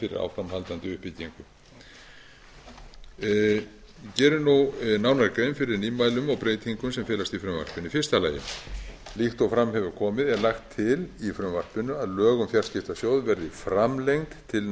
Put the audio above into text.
fyrir áframhaldandi uppbyggingu ég geri nú nánari grein fyrir nýmælum og breytingum sem felast í frumvarpinu fyrstu líkt og fram hefur komið er lagt til í frumvarpinu að lög um fjarskiptasjóð verði framlengd til